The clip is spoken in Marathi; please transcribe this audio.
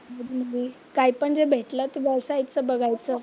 मध्ये मध्ये. कायपण जे भेटलं ते बसायचं बघायचं.